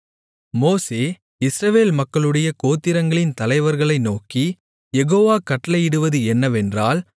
மோசே இஸ்ரவேல் மக்களுடைய கோத்திரங்களின் தலைவர்களை நோக்கி யெகோவா கட்டளையிடுவது என்னவென்றால்